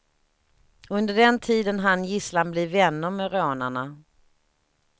Under den tiden hann gisslan bli vänner med rånarna.